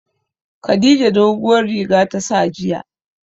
Khadija doguwar riga ta sa jiya.